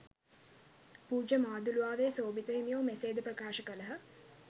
පූජ්‍ය මාදුළුවාවේ සෝභිත හිමියෝ මෙසේද ප්‍රකාශ කළහ